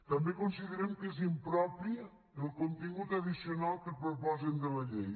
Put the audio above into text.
també considerem que és impropi el contingut addicional que proposen de la llei